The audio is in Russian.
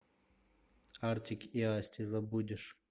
артик и асти забудешь